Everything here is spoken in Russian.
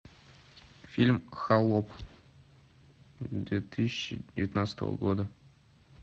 фильм холоп две тысячи девятнадцатого года